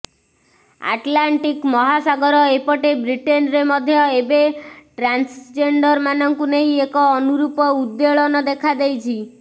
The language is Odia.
ଆଟ୍ଲାଣ୍ଟିକ୍ ମହାସାଗର ଏପଟେ ବ୍ରିଟେନ୍ରେ ମଧ୍ୟ ଏବେ ଟ୍ରାନ୍ସଜେଣ୍ଡର୍ ମାନଙ୍କୁ ନେଇ ଏକ ଅନୁରୂପ ଉଦ୍ବେଳନ ଦେଖାଦେଇଛି